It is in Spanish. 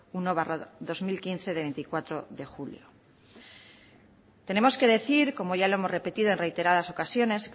uno barra dos mil quince de veinticuatro de julio tenemos que decir como ya lo hemos repetido en reiteradas ocasiones